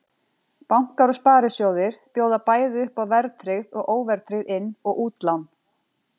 Bankar og sparisjóðir bjóða bæði upp á verðtryggð og óverðtryggð inn- og útlán.